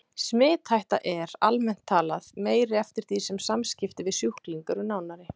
Smithætta er, almennt talað, meiri eftir því sem samskipti við sjúkling eru nánari.